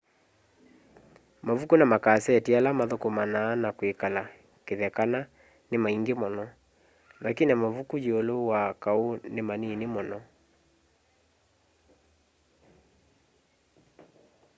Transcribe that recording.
mavuku na makaseti ala mathukumana na kwikala kithekana ni maingi muno lakini mavuku yiulu wa kau ni manini muno